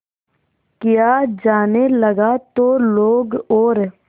किया जाने लगा तो लोग और